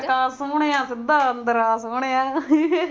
ਨਾ ਖੜਕਾ ਸੁਣਿਆਂ ਸਿਦਾ ਅੰਦਰ ਆ ਸੋਹਣਿਆ